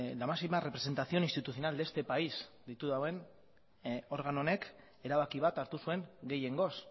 la máxima representación institucional de este país deitu duen organo honek erabaki bat hartu zuen gehiengoz